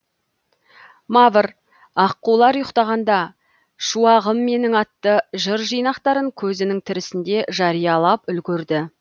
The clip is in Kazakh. мавр аққулар ұйықтағанда шуағым менің атты жыр жинақтарын көзінің тірісінде жариялап үлгерді